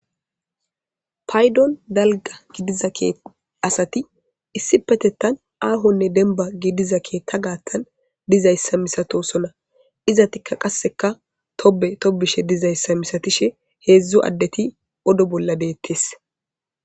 paydon dalga gidiza kee asati issi Petettan aahonne denba gidiza keetta gaattan dizayssa misatosona izatikka qasseka tobe tobishe dizayssa misatishe heedzdzu addeti odo bolla beettes.